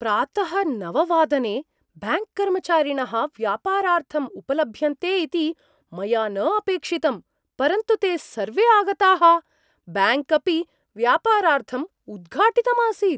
प्रातः नव वादने ब्याङ्क्कर्मचारिणः व्यापारार्थम् उपलभ्यन्ते इति मया न अपेक्षितं, परन्तु ते सर्वे आगताः, ब्याङ्क् अपि व्यापारार्थम् उद्घाटितम् आसीत्।